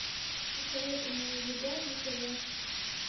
посоветуй мне еда на тв